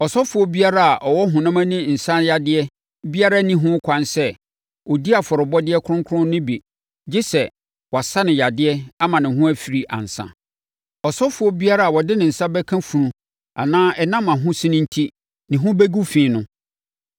“Ɔsɔfoɔ biara a ɔwɔ honam ani nsane yadeɛ biara nni ho kwan sɛ ɔdi afɔrebɔdeɛ kronkron no bi gye sɛ, wɔasa no yadeɛ ama ne ho afiri ansa. Ɔsɔfoɔ biara a ɔde ne nsa bɛka funu anaa ɛnam ahosene enti ne ho bɛgu fi no,